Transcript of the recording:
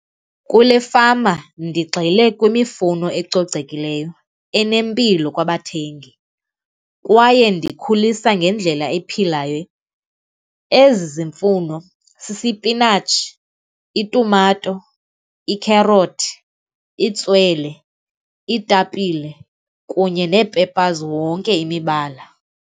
Kule fama ndigxile kwimifuno ecocekileyo, enempilo kwabathengi kwaye ndikhulisa ngendlela ephilayo. Ezi mfuno sisipinatshi, itumato, ikherothi, itswele, iitapile kunye nee-peppers wonke imibala.